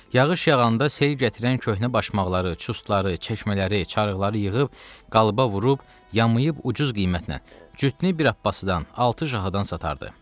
Yağış yağanda sel gətirən köhnə başmaqları, çustları, çəkmələri, çarıqları yığıb qalıba vurub, yamayıb ucuz qiymətnən cütnü bir Abbasıdan, altı cahadan satardı.